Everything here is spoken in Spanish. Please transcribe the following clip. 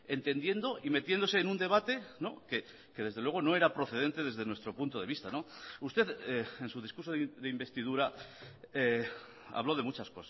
entendiendo y metiéndose en un debate que desde luego no era procedente desde nuestro punto de vista usted en su discurso de investidura habló de muchas